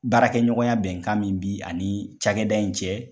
Baarakɛ ɲɔgɔnya bɛnkan min bi ani cakɛda in cɛ.